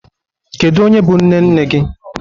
Kedu onye bụ nne nne gị?